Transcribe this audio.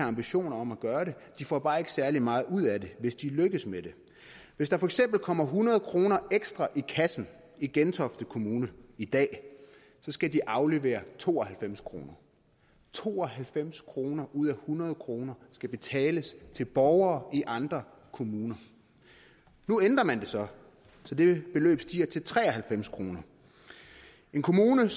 ambitioner om at gøre det de får bare ikke særlig meget ud af det hvis de lykkes med det hvis der for eksempel kommer hundrede kroner ekstra i kassen i gentofte kommune i dag så skal de aflevere to og halvfems kroner to og halvfems kroner ud af hundrede kroner skal betales til borgere i andre kommuner nu ændrer man det så så det beløb stiger til tre og halvfems kroner en kommune